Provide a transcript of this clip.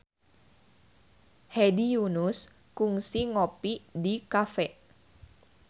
Hedi Yunus kungsi ngopi di cafe